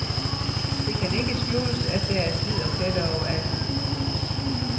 Det kan ikke skjules at der er slid og pletter overalt.